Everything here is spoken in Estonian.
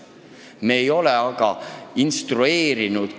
Me ei ole neid kõiki aga instrueerinud.